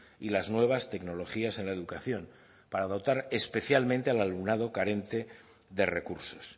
y las nuevas tecnologías en la educación para dotar especialmente al alumnado carente de recursos